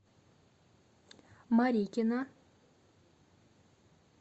марикина